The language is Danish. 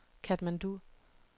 Katmandu